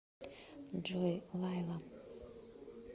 джой лайла